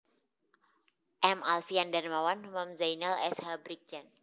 M Alfian Darmawam Hoemam Zainal S H Brigjen